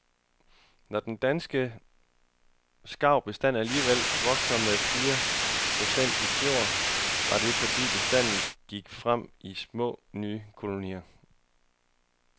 Når den danske skarvbestand alligevel voksede med fire procent i fjor, var det fordi bestanden gik frem i små, nye kolonier.